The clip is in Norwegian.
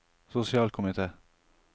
sosialkomite